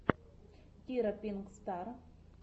кира пинк стар